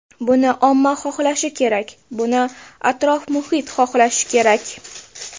Buni omma xohlashi kerak, buni atrof-muhit xohlashi kerak.